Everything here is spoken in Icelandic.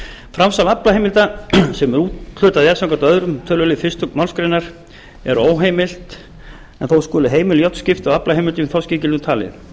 framsal aflaheimilda sem úthlutað er samkvæmt öðrum tölulið fyrstu málsgrein er óheimilt en þó skulu heimil jöfn skipti á aflaheimildum í þorskígildum talið